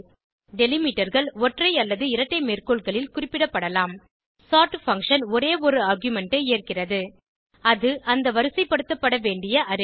Delimiterகள் ஒற்றை அல்லது இரட்டை மேற்கோள்களில் குறிப்பிடப்படலாம் சோர்ட் பங்ஷன் ஒரே ஒரு ஆர்குமென்ட் ஐ ஏற்கிறது அது அந்த வரிசைப்படுத்தப்பட வேண்டிய அரே